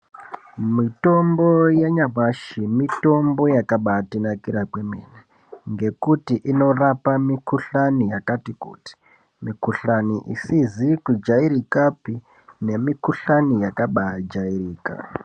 Mitombo yanyamashi mitombo yakabatinakira kwemene ngekuti inorapa mikhuhlani yakatikuti, mikhuhlani isizi kujairikapi nemikhuhlani yakabajairika.